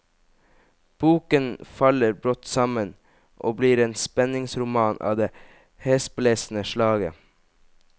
Boken faller brått sammen og blir en spenningsroman av det hesblesende slaget.